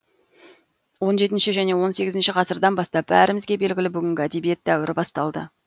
он жетінші және он сегізінші ғасырдан бастап бәрімізге белгілі бүгінгі әдебиет дәуірі басталды